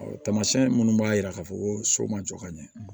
Tamasiyɛn minnu b'a yira k'a fɔ ko so ma jɔ ka ɲɛ